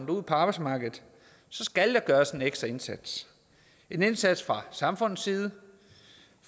ud på arbejdsmarkedet skal der gøres en ekstra indsats en indsats fra samfundets side